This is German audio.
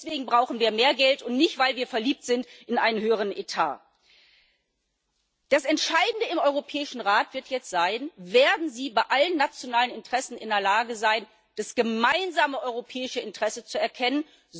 Deswegen brauchen wir mehr Geld und nicht, weil wir verliebt sind in einen höheren Etat. Das Entscheidende im Europäischen Rat wird jetzt sein Werden Sie bei allen nationalen Interessen in der Lage sein, das gemeinsame europäische Interesse zu erkennen?